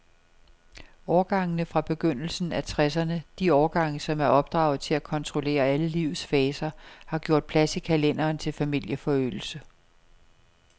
Årgangene fra begyndelsen af tresserne, de årgange, som er opdraget til at kontrollere alle livets faser, har gjort plads i kalenderen til familieforøgelse.